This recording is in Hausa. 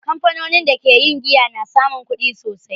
Kamfanonin da ke yin giya na samun kudi sosai.